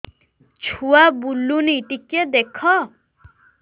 ଛୁଆ ବୁଲୁନି ଟିକେ ଦେଖ